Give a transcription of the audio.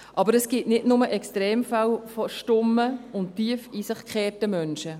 Aber es gibt nicht nur Extremfälle von stummen und tief in sich gekehrten Menschen.